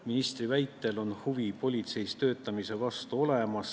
Ministri väitel on huvi politseis töötamise vastu olemas.